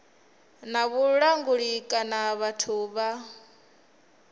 na vhulanguli kana vhathu vha